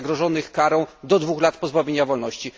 zagrożonych karą do 2 lat pozbawienia wolności.